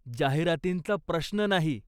जाहिरातींचा प्रश्न नाही.